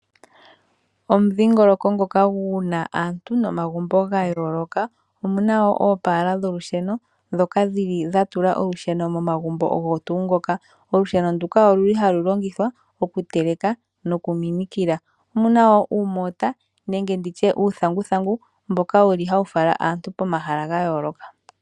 Omudhingoloko ngoka guna aantu nomagumbo gayooloka omuna wo oopala dholusheno dhoka dhhili dhatula olusheno momagumbo ogo tungoka. Olusheno nduka oluli halu longithwa okuteleka nosho wo okuminikila, omuna wo uumota nenge nditye uuthanguthangu mboka wuli hawu fala aantu pomahala gayooloka.